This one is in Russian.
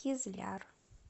кизляр